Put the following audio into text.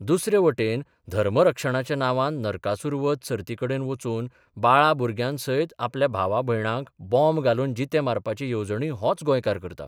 दुसरे वटेन धर्मरक्षणाच्या नांवान नरकासूर बध सर्तीकडेन वचून बाळा भुरग्यांसयत आपल्या भावा भयणांक बॉम्ब घालून जिते मारपाची येवजणूय होच गोंयकार करता.